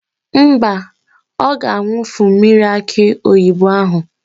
Mba, ọ ga-awufu mmiri akị oyibo ahụ.